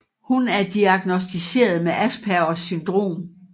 Hun er diagnosticeret med aspergers syndrom